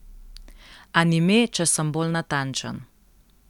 Anime, če sem bolj natančen.